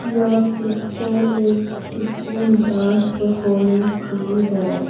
यह पिक्चर एक school dance performance की है।